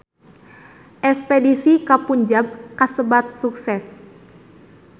Espedisi ka Punjab kasebat sukses